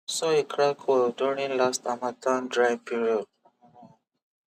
soil crack well during last harmattan dry period